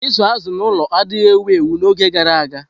Ịzụ azụ̀ n'ụlọ adịghị ewu ewu n'oge gara aga.